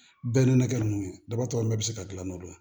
Bɛɛ n'a kɛ ninnu ye dabatɔ bɛɛ bɛ se ka dilan n'o ye